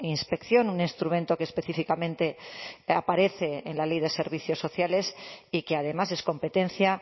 inspección un instrumento que específicamente aparece en la ley de servicios sociales y que además es competencia